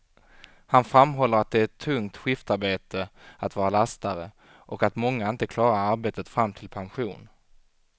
Han framhåller att det är ett tungt skiftarbete att vara lastare, och att många inte klarar arbetet fram till pension.